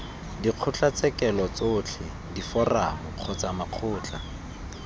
dikgotlatshekelo tsotlhe diforamo kgotsa makgotla